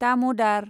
दाम'दार